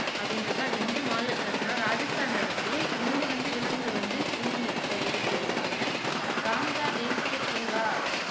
அப்படின்னுருக்கு அது எந்த மாநிலத்துல இருக்குன்னா ராஜஸ்தான்ல இருக்கு இங்க வந்து விலங்குகள் வந்து புலி அஹ் இருக்கு அப்படின்னு சொல்லுறாங்க காங்கா தேசிய பூங்கா